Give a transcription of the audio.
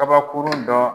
Kabakurun dɔ